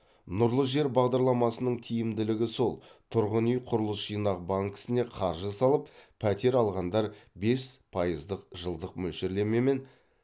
нұрлы жер бағдарламасының тиімділігі сол тұрғын үй құрылыс жинақ банкісіне қаржы салып пәтер алғандар бес пайыздық жылдық мөлшерлемемен